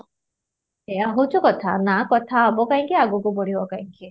ଏଇୟା ହେଉଛି କଥା ନା କଥା ହେବ କାହିଁକି ଆଗକୁ ବଢିବ କାହିଁକି